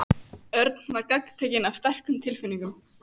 Örn var gagntekinn af sterkum tilfinningum.